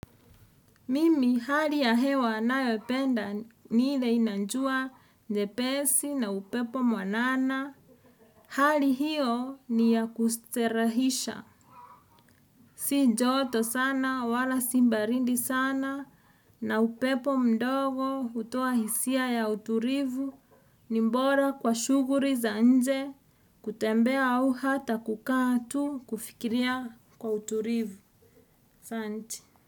Mimi hali ya hewa nayopenda nil ile ina jua nyepesi na upepo mwanana. Hali hiyo ni ya kustarehisha. Si joto sana wala si baridi sana na upepo mdogo hutoa hisia ya utulivu. Ni bora kwa shughuli za nje kutembea au hata kukaa tu kufikiria kwa utulivu. Asante.